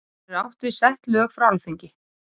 Þar er átt við sett lög frá Alþingi.